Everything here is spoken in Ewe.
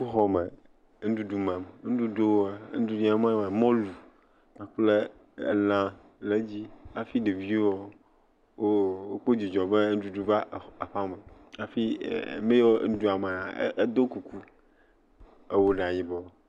Sukuxɔme, enuɖuɖu mam, nuɖuɖua, nuɖuɖuyi mam wole nye mɔlu elã le edzi, hafi ɖeviawo kpɔ dzidzɔ be enuɖuɖu va aƒe me, emeyiwo le nuɖuɖua mam edo kuku, ewɔ ɖa yibɔ.